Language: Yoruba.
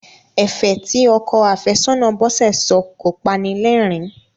Ẹ̀fẹ̀ tí ọkọ àfẹ́sọ́nà Bọ́sẹ̀ sọ kọ panilẹ́rìn-ín.